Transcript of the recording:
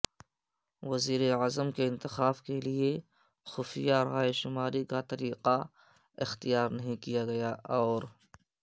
وزیراعظم کے انتخاب کے لیے خفیہ رائے شماری کا طریقہ اختیار نہیں کیا گیا اور